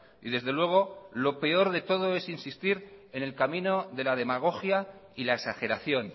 y desde luego lo peor de todo es insistir en el camino de la demagogia y la exageración